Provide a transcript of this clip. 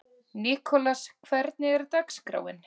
Nikolas, hvernig er dagskráin?